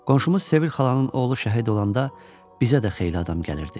Qonşumuz Sevil xalanın oğlu şəhid olanda bizə də xeyli adam gəlirdi.